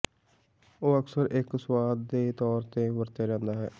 ਉਹ ਅਕਸਰ ਇੱਕ ਸੁਆਦ ਦੇ ਤੌਰ ਤੇ ਵਰਤਿਆ ਜਾਦਾ ਹੈ